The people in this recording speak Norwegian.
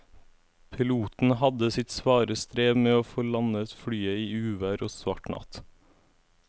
Piloten hadde sitt svare strev med å få landet flyet i uvær og svart natt.